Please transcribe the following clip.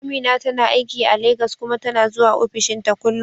Amina tana aiki a Legas kuma tana zuwa ofishinta kullum.